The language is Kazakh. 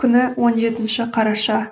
күні он жетінші қараша